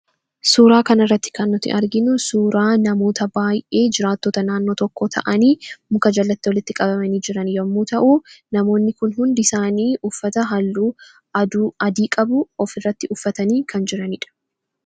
Suuraa kanarratti kan nuti arginu suuraa namoota baayyee jiraattota naannoo tokko ta'anii muka jalatti walitti qabamanii jiran yommuu ta'u, namoonni kun hundi isaanii uffata halluu adii qabu ofirratti uffatanii kan jirani dha.